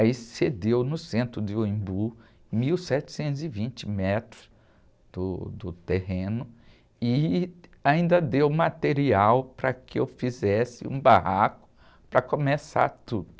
Aí cedeu no centro de uh Embu, mil setecentos e vinte metros do, do terreno, e ainda deu material para que eu fizesse um barraco para começar tudo.